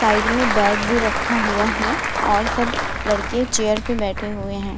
Side में bag भी रखा हुआ है और सब लड़के चेयर में बैठे हुए हैं।